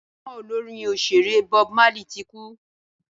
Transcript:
gbajúmò Olorin òṣèré Bob Marley tí kú